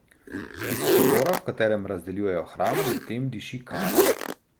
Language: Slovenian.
Iz šotora, v katerem razdeljujejo hrano, medtem diši kari.